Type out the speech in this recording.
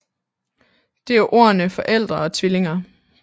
Det er ordene forældre og tvillinger